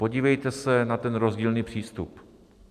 Podívejte se na ten rozdílný přístup.